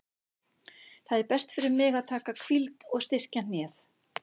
Það er best fyrir mig að taka hvíld og styrkja hnéð.